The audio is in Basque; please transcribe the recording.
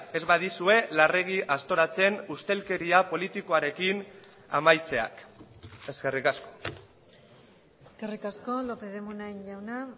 ez badizue larregi aztoratzen ustelkeria politikoarekin amaitzeak eskerrik asko eskerrik asko lópez de munain jauna